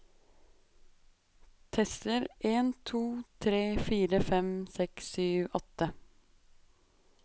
Tester en to tre fire fem seks sju åtte